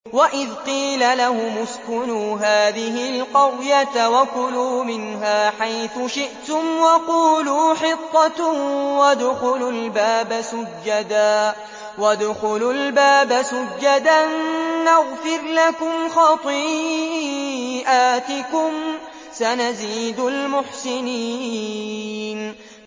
وَإِذْ قِيلَ لَهُمُ اسْكُنُوا هَٰذِهِ الْقَرْيَةَ وَكُلُوا مِنْهَا حَيْثُ شِئْتُمْ وَقُولُوا حِطَّةٌ وَادْخُلُوا الْبَابَ سُجَّدًا نَّغْفِرْ لَكُمْ خَطِيئَاتِكُمْ ۚ سَنَزِيدُ الْمُحْسِنِينَ